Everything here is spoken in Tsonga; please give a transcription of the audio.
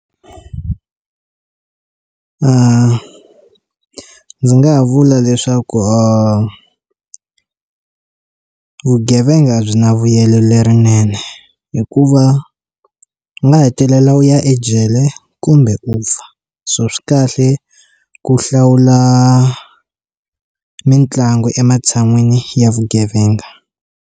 ndzi nga vula leswaku or vugevenga byi na vuyelo lerinene hi ku u va nga hetelela u ya ejele kumbe u fa so swi kahle ku hlawula mitlangu ematshan'wini ya vugevenga.